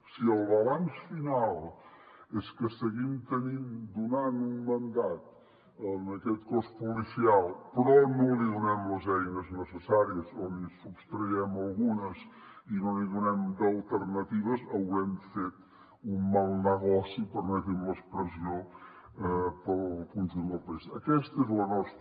si el balanç final és que seguim donant un mandat a aquest cos policial però no li donem les eines necessàries o n’hi sostreien algunes i no n’hi donem d’alternatives haurem fet un mal negoci permeti’m l’expressió pel conjunt del país